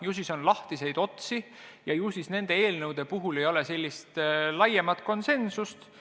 Ilmselt on siis lahtiseid otsi ja nende eelnõude puhul ei ole veel laiemat konsensust.